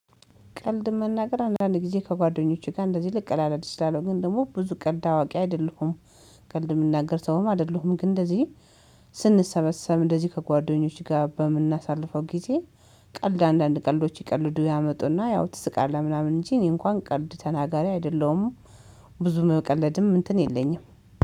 ቀልድ መናገር አንዳንድ ጊዜ ከጓደኞቼ ጋር እንደዚህ ልቀላልድ እችላለሁ ግን ደግሞ ብዙ ቀልድ አዋቂ አይደለሁም። ቀልድ የምናገር ሰውም አይደለሁም ግን እንደዚህ ስንሰበሰብ እንደዚህ ከጓደኞቼ ጋር በምናሳልፈው ጊዜ ቀልድ አንዳንድ ቀልዶች ይቀልዱ ያመጡና ያው ትስቃለህ ምናምን እንጂ እኔ እንኳን ቀልድ ተናጋሪ አይደለሁም። ብዙም የምቀለድም እንትን የለኝም